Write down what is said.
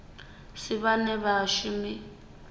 si vhane vha vha vhashumi